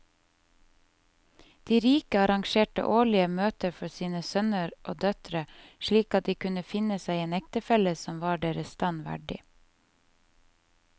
De rike arrangerte årlige møter for sine sønner og døtre slik at de kunne finne seg en ektefelle som var deres stand verdig.